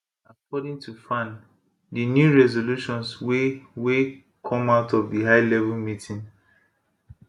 according to faan di new resolutions wey wey come out of di highlevel meeting